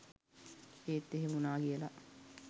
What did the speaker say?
ඒත් එහෙම වුණා කියලා